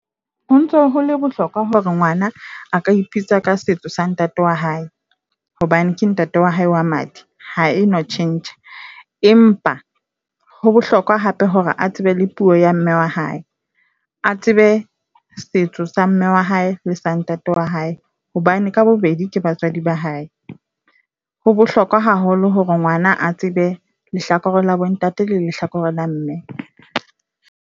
Ho ntso hole bohlokwa hore ngwana a ka ipitsa ka setso sa ntate wa hae, hobane ke ntate wa hae wa madi. Ha e no tjhentjha, empa ho bohlokwa hape hore a tsebe le puo ya mme wa hae. A tsebe setso sa mme wa hae le sa ntate wa hae, hobane ka bobedi ke batswadi ba hae. Ho bohlokwa haholo hore ngwana a tsebe lehlakore la bo ntate lehlakore la mme.